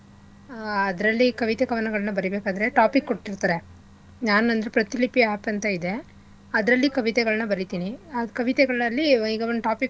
ಆಹ್ ಅದ್ರಲ್ಲಿ ಕವಿತೆ ಕವನಗಳ್ನ ಬರಿಬೇಕಾದ್ರೆ topic ಕೊಟ್ಟಿರ್ತರೆ. ನಾನ್ ಅಂದ್ರೆ ಪ್ರತಿಲಿಪಿ app ಅಂತ ಇದೆ ಅದ್ರಲ್ಲಿ ಕವಿತೆಗಳ್ನ ಬರೀತಿನಿ ಅದ್ ಕವಿತೆಗಳಲ್ಲಿ ಈಗ ಒಂದ್ topic .